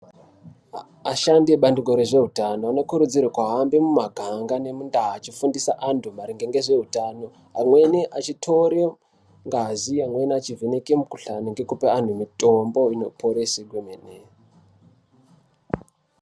Ashandi ebqndiko rwezveutano vanokurudzirwa kuhambe mumuganga nemundu achifundise antu maringe nezveutano. Amweni achitore ngazi, amweni achivheneka mikhuhlani ngekupe antu mitombo inoporese kwemene.